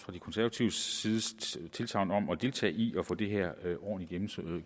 de konservatives tilsagn om at deltage i at få det her ordentligt